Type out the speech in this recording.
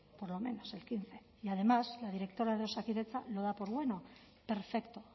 por lo menos el quince y además la directora de osakidetza lo da por bueno perfecto